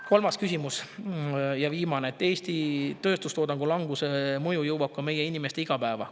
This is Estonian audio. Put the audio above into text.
Kolmas ja viimane küsimus: "Eesti tööstustoodangu languse mõju jõuab ka meie inimeste igapäeva.